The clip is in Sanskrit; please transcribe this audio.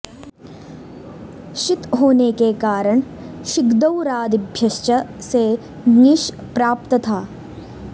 षित् होने के कारण षिद्गौरादिभ्यश्च से ङीष् प्राप्त था